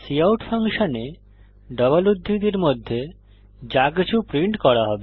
cout ফাংশনে double উদ্ধৃতির মধ্যে যাকিছু প্রিন্ট করা হবে